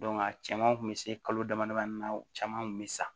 a caman kun be se kalo damadamanin na u caman kun be sa